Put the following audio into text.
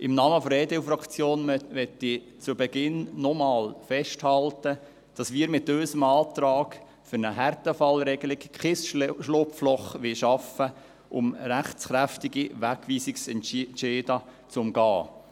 Im Namen der EDU-Fraktion möchte ich zu Beginn nochmals festhalten, dass wir mit unserem Antrag für eine Härtefallregelung kein Schlupfloch schaffen wollen, um rechtskräftige Wegweisungsentscheide zu umgehen.